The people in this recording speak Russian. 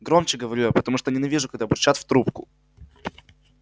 громче говорю я потому что ненавижу когда бурчат в трубку